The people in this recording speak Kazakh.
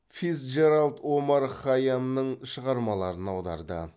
фицджеральд омар хайямның шығармаларын аударды